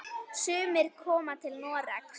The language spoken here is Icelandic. Sumir koma til Noregs.